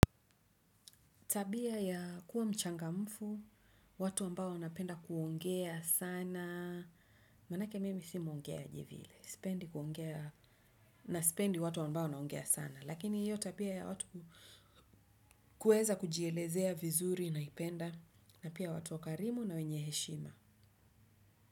Tabia ya kuwa mchangamfu, watu ambao wanapenda kuongea sana, maanake mimi si mwongeaji vile, na sipendi watu ambao wanaongea sana. Lakini hiyo tabia ya watu kuweza kujielezea vizuri naipenda, na pia watu wakarimu na wenye heshima.